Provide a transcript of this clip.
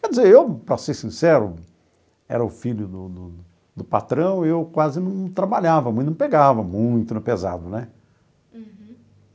Quer dizer, eu, para ser sincero, era o filho do do do patrão e eu quase não trabalhava muito, não pegava muito, no pesado, né?